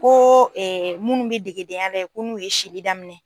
Ko ɛ munnu be degedenya yen ko n'u ye sili daminɛ